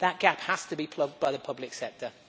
That gap has to be plugged by the public sector.